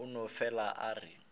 a no fele a re